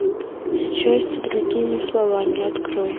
счастье другими словами открой